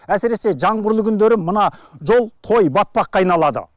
әсіресе жаңбырлы күндері мына жол той батпаққа айналады